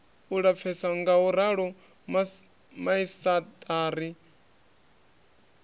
u lapfesa ngauralo maisaṱari a